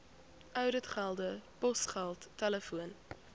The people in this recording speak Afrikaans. ouditgelde posgeld telefoon